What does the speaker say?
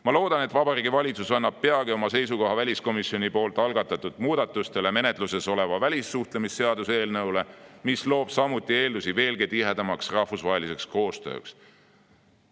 Ma loodan, et Vabariigi Valitsus annab peagi oma seisukoha väliskomisjoni algatatud muudatustele menetluses oleva välissuhtlemisseaduse eelnõule, mis loob samuti eeldusi veelgi tihedamaks rahvusvaheliseks koostööks.